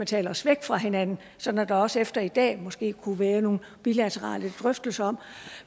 tale os væk fra hinanden sådan at der også efter i dag måske kunne være nogle bilaterale drøftelser om